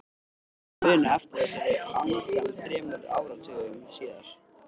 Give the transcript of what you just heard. Hvernig gat ég munað eftir þessari angan þremur áratugum síðar?